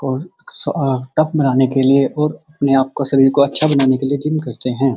और स टफ बनाने के लिए और अपने आपका को शरीर को अच्छा बनाने के लिए जिम करते हैं।